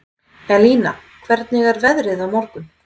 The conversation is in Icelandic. Elina, hvernig er veðrið á morgun?